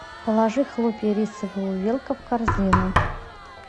положи хлопья рисовые увелка в корзину